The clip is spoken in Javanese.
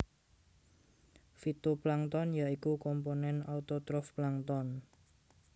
Fitoplankton ya iku komponen autotrof plankton